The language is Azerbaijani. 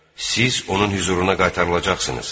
Siz onun hüzuruna qaytarılacaqsınız.